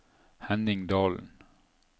Henning Dalen